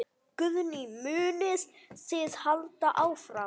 Guðný: Munið þið halda áfram?